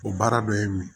O baara dɔ ye mun ye